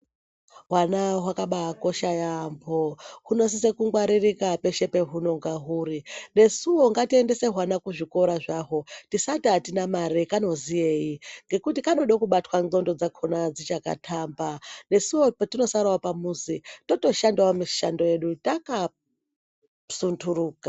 Hwana hwakabai kosha yambo huno sise ku ngwaririka peshe pe hunonga huri nesuwo ngati endese hwana ku zvikora zvahwo tisati atina mare kanoziyei ngekuti kanode kubatwa ndxondo dzakona dzichaka tamba nesuwo petino sarawo pa muzi toto shandawo mishando yedu taka sunduruka.